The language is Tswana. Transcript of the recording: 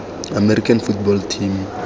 american football team